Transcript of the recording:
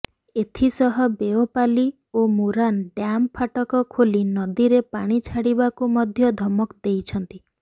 ଏଥିସହ ବେଓପାଲି ଓ ମୁରାନ ଡ୍ୟାମ୍ ଫାଟକ ଖୋଲି ନଦୀରେ ପାଣି ଛାଡ଼ିବାକୁ ମଧ୍ୟ ଧମକ ଦେଇଛନ୍ତି